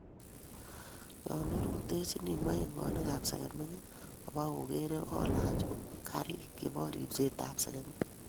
Yon orutechini moingonik ap segemik obo-ogere, olach kariik chebo ripset ap segemik